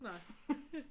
Nej